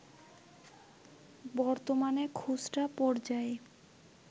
বর্তমানে খুচরা পর্যায়ে